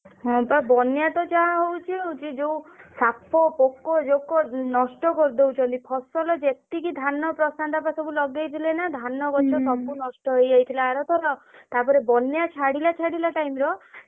ହଁ ବା ବନ୍ୟା ତ ଯାହା ହଉଛି ହଉଛି ଯୋଉ ସାପ ପୋକ ଜୋକ ଉଁ ନଷ୍ଟ କରିଦଉଛନ୍ତି ଫସଲ ଯେତିକି ଧାନ ପଠା ଯାକ ସବୁ ଲଗେଇଥିଲେ ନା ଧାନ ଗଛ ସବୁ ନଷ୍ଟ ହେଇଯାଇଥିଲା ଆରଥର। ତା ପରେ ବନ୍ୟା ଛାଡିଲା ଛାଡିଲା time ର